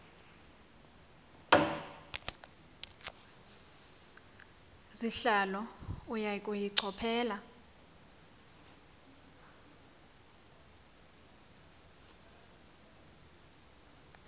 sihlalo uya kuyichophela